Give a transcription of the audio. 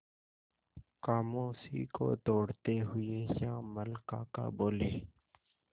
खामोशी को तोड़ते हुए श्यामल काका बोले